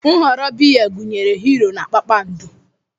Nhọrọ biya gụnyere Hiiro na Kpakpando.